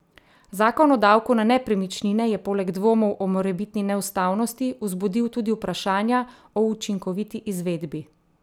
Zakon o davku na nepremičnine je poleg dvomov o morebitni neustavnosti vzbudil tudi vprašanja o učinkoviti izvedbi.